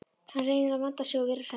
Hann reynir að vanda sig og vera hress.